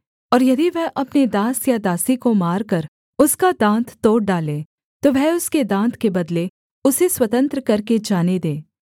और यदि वह अपने दास या दासी को मारकर उसका दाँत तोड़ डाले तो वह उसके दाँत के बदले उसे स्वतंत्र करके जाने दे